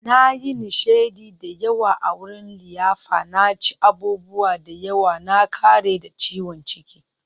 Na yi nishadi da yawa a wurin liyafa, na ci abubuwa da yawa, na ƙare da ciwon ciki.